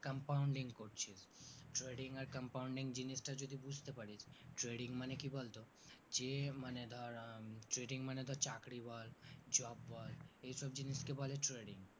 compounding করছিস trading আর compounding জিনিসটা যদি বুজতে পারি trading মানে কি বলতো যে মানে ধর আহ trading মানে ধর চাকরি বল job বল এই সব জিনিসকে বলে trading